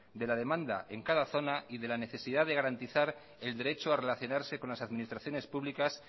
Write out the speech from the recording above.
de la demanda en cada zona y de la necesidad de garantizar el derecho a relacionarse con las administraciones públicas